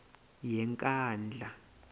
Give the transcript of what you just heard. yenkandla